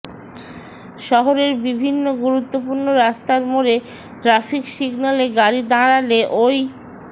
শহরের বিভিন্ন গুরুত্বপূর্ণ রাস্তার মোড়ে ট্র্যাফিক সিগন্যালে গাড়ি দাঁড়ালে ওই